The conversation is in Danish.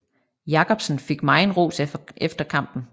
Jacobsen fik megen ros efter kampen